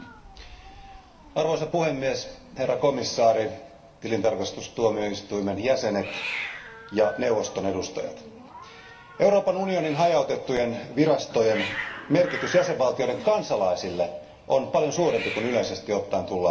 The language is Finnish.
Arvoisa puhemies, herra komissaari, tilintarkastustuomioistuimen jäsenet ja neuvoston edustajat, Euroopan unionin hajautettujen virastojen merkitys jäsenvaltioiden kansalaisille on paljon suurempi kuin yleisesti ottaen tullaan ajatelleeksi.